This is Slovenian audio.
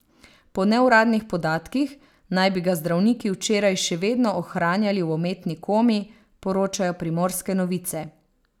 Po neuradnih podatkih naj bi ga zdravniki včeraj še vedno ohranjali v umetni komi, poročajo Primorske novice.